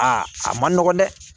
Aa a man nɔgɔn dɛ